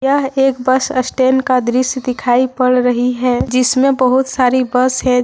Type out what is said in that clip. यह एक bus stand का दृश्य दिखाई पड़ रही है जिसमें बहुत सारी बस हैं